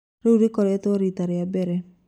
Rĩu rĩtigokorwo rita rĩa mbere